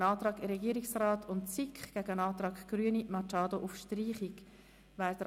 Dazu liegt ein Antrag Regierungsrat/SiK gegen einen Antrag Grüne/Machado auf Streichung vor.